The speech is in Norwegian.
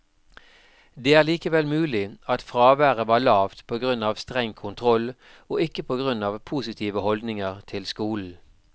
Det er likevel mulig at fraværet var lavt på grunn av streng kontroll, og ikke på grunn av positive holdninger til skolen.